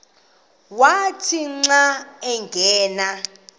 wathi xa angena